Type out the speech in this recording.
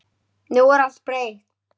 Nú er allt breytt.